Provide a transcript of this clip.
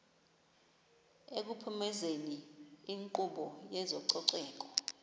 ekuphumezeni inkqubo yezococeko